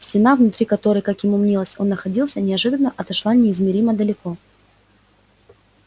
стена внутри которой как ему мнилось он находился неожиданно отошла неизмеримо далеко